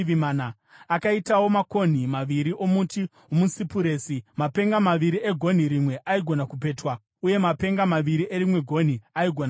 Akaitawo makonhi maviri omuti womusipuresi, mapenga maviri egonhi rimwe aigona kupetwa, uye mapenga maviri erimwe gonhi aigona kupetwa.